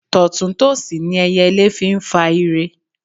Tọ̀tún tòsì ni ẹyẹlé fi ń fa ire.